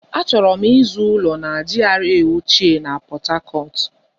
Achọrọ m ịzụ ụlọ na GRA ochie na Pọt Hacọt.